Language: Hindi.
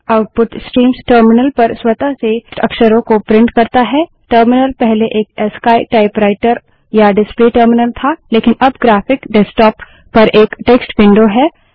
आउटपुट स्ट्रीम्स टर्मिनल पर स्वतः से टेक्स्ट अक्षरों को प्रिंट करता है टर्मिनल पहले एक अस्की टाइपराइटर या डिसप्ले टर्मिनल था लेकिन अब ग्राफिक डेस्क्टाप पर एक टेक्स्ट विंडो है